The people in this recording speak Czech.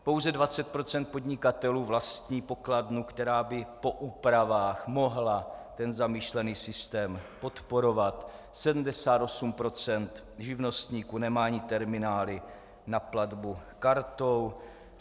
Pouze 20 % podnikatelů vlastní pokladnu, která by po úpravách mohla ten zamýšlený systém podporovat, 78 % živnostníků nemá ani terminály na platbu kartou.